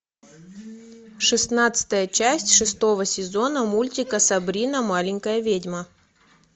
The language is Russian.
шестнадцатая часть шестого сезона мультика сабрина маленькая ведьма